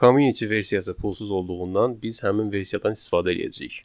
Community versiyası pulsuz olduğundan biz həmin versiyadan istifadə eləyəcəyik.